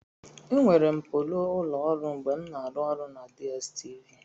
Enwere m polo ụlọ ọrụ mgbe m na-arụ ọrụ na DStv.